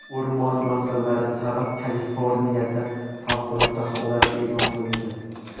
O‘rmon yong‘inlari sabab Kaliforniyada favqulodda holat e’lon qilindi.